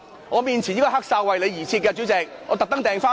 我面前這個"黑哨"是為你而設的，主席，我特地訂購的。